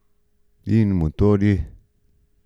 In motorji?